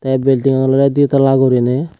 ei building an olodey di tala guriney.